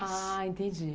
Ah, entendi.